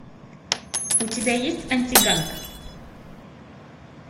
у тебя есть антиганг